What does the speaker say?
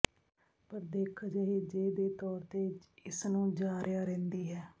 ਪਰ ਦਿੱਖ ਅਜਿਹੇ ਜੇ ਦੇ ਤੌਰ ਤੇ ਇਸ ਨੂੰ ਜਾ ਰਿਹਾ ਰਹਿੰਦੀ ਹੈ